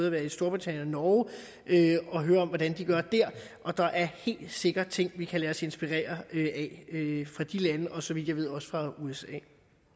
at være i storbritannien og norge og hørt om hvordan de gør dér og der er helt sikkert ting vi kan lade os inspirere af fra de lande og så vidt jeg ved også fra usa